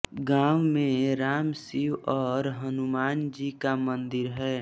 गाँव में राम शिव और हनुमानजी का मंदिर है